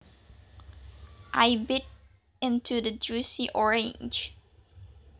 I bit into the juicy orange